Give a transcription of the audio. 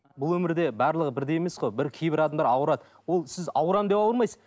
бұл өмірде барлығы бірдей емес қой бір кейбір адамдар ауырады ол сіз ауырамын деп ауырмайсыз